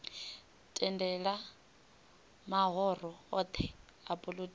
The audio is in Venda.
tendela mahoro othe a polotiki